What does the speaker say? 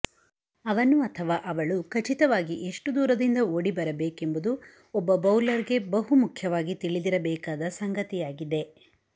ಅವನು ಅಥವಾ ಅವಳು ಖಚಿತವಾಗಿ ಎಷ್ಟು ದೂರದಿಂದ ಓಡಿಬರಬೇಕೆಂಬುದು ಒಬ್ಬ ಬೌಲರ್ ಗೆ ಬಹುಮುಖ್ಯವಾಗಿ ತಿಳಿದಿರಬೇಕಾದ ಸಂಗತಿಯಾಗಿದೆ